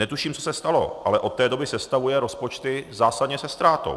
Netuším, co se stalo, ale od té doby sestavuje rozpočty zásadně se ztrátou.